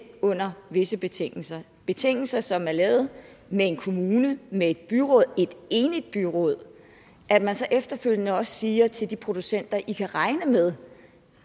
under visse betingelser betingelser som er lavet med en kommune med et byråd et enigt byråd at man så efterfølgende også siger til de producenter i kan regne med